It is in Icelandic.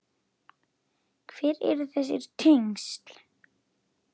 Hver eru þessi tengsl?